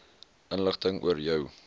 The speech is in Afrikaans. inligting oor jou